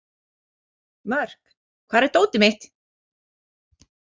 Mörk, hvar er dótið mitt?